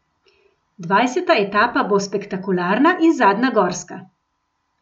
Dvajseta etapa bo spektakularna in zadnja gorska.